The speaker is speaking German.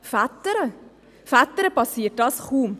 Vätern hingegen geschieht dies kaum.